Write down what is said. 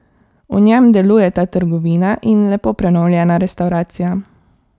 V njem delujeta trgovina in lepo prenovljena restavracija.